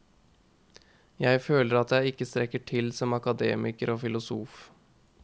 Jeg føler at jeg ikke strekker til som akademiker og filosof.